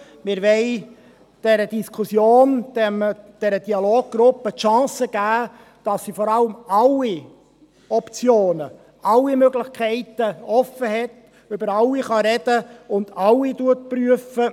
Wir wollen dieser Dialoggruppe die Chance geben, dass sie vor allem alle Optionen, alle Möglichkeiten offenhält, über alle sprechen kann und alle prüft.